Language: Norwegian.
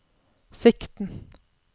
sikten